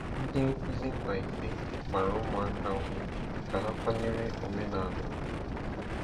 Ndị nkuzi Mbaise gbara ụmụaka ume ka ha kwanyere omenala ugwu.